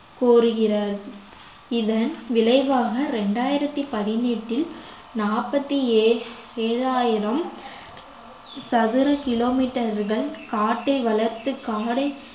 கூறுகிறா~ இதன் விளைவாக இரண்டாயிரத்தி பதினெட்டில் நாற்பத்தி ஏழு~ ஏழாயிரம் சதுர kilometer கள் காட்டை வளர்த்து காரை